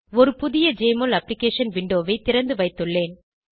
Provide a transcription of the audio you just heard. ஒரு புதிய Jmol application விண்டோவை திறந்துவைத்துள்ளேன்